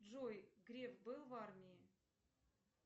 джой греф был в армии